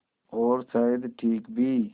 और शायद ठीक भी